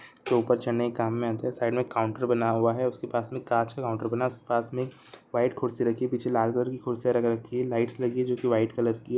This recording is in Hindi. जो उपर चढने के काम में आते है साइड में काउंटर बना हुआ है उसके पास में कांच का काउंटर बना हुआ है उसके पास में वाइट कुर्सी रखी हुई है पीछे लाल कलर की कुर्सिया रख रखी है लाइटस लगी है जो की वाइट कलर की--